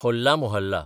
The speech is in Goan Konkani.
होल्ला मोहल्ला